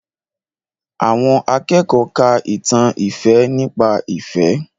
Àwọn akẹ́kọ̀ọ́ ka ìtàn ìfẹ́ nípa ìfẹ́